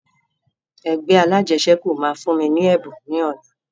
Ẹgbẹ́ alajẹsẹ́kù máa fún mi ní ẹ̀bùn ni ọ̀la